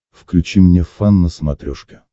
включи мне фан на смотрешке